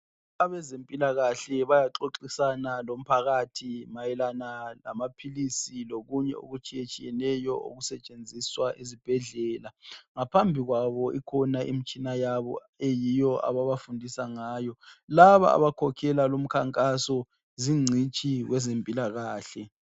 Abezempilakahle bayaxoxisana lomphakathi mayelana lamaphilisi lokunye okutshiyatshiyeneyo okusetshenziswa ezibhedlela. Ngaphambikwabo ikhona imitshini yabo eyiyo ababafundisa ngayo. Laba abakhokhela lumkhankaso zincitshi kwezempilakahle.